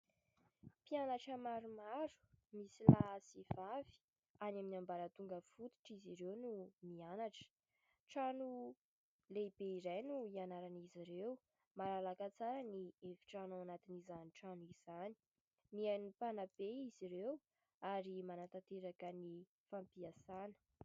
Mpianatra maromaro, misy lahy sy vavy, any amin'ny ambaratonga fototra izy ireo no mianatra. Trano lehibe iray no ianaran'izy ireo ; malalaka tsara ny efitrano ao anatin'izany trano izany ; mihaino ny mpanabe izy ireo ary manatanteraka ny fampiasana.